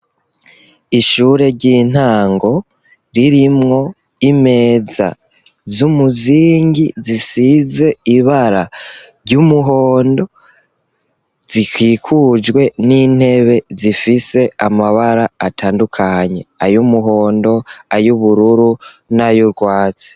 Ishure ry'intango ririmwo imeza z'umuzingi, zisize ibara ry'umuhondo, zikikujwe n'intebe zifise amabara atandukanye, ay'umuhondo, ay'ubururu n'ayurwatsi.